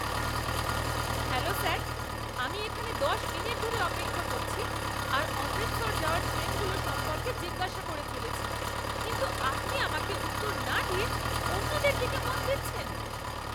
Hello sir! আমি এখানে দশ মিনিট ধরে অপেক্ষা করছি আর অমৃতসর যাওয়ার ট্রেনগুলো সম্পর্কে জিজ্ঞাসা করে চলেছি কিন্তু আপনি আমাকে উত্তর না দিয়ে অন্যদের দিকে মন দিচ্ছেন।